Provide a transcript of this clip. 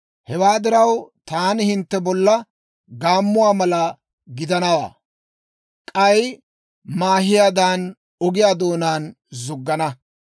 Hewaa diraw, taani hintte bolla gaammuwaa mala gidanawaa; k'ay maahiyaadan, ogiyaa doonaan zuggana.